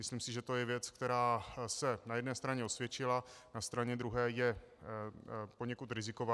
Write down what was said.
Myslím si, že to je věc, která se na jedné straně osvědčila, na straně druhé je poněkud riziková.